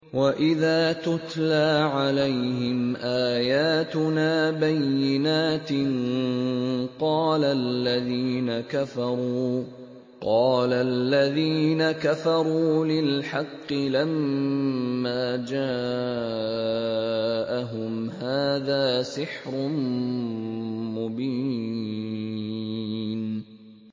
وَإِذَا تُتْلَىٰ عَلَيْهِمْ آيَاتُنَا بَيِّنَاتٍ قَالَ الَّذِينَ كَفَرُوا لِلْحَقِّ لَمَّا جَاءَهُمْ هَٰذَا سِحْرٌ مُّبِينٌ